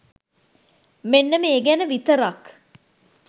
මෙන්න මේ ගැන විතරක්